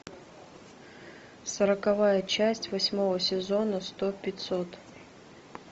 сороковая часть восьмого сезона сто пятьсот